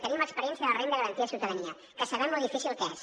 tenim l’experiència de la renda garantida de ciutadania que sabem lo difícil que és